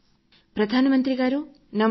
ప్రధాన మంత్రి గారు నమస్కారం